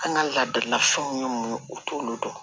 An ka laadalafɛnw ye mun ye u t'olu dɔn